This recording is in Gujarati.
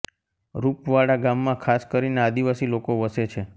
રૂપવાડા ગામમાં ખાસ કરીને આદિવાસી લોકો વસે છે